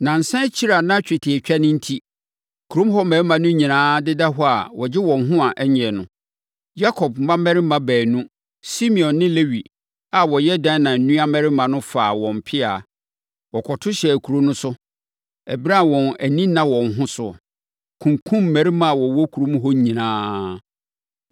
Nnansa akyiri a na twetiatwa no enti, kurom hɔ mmarima no nyinaa deda hɔ a wɔgye wɔn ho a ɛnnye no, Yakob mmammarima baanu Simeon ne Lewi a wɔyɛ Dina nuammarima no faa wɔn mpea. Wɔkɔto hyɛɛ kuro no so, ɛberɛ a wɔn ani nna wɔn ho so, kunkumm mmarima a wɔwɔ kurom hɔ nyinaa.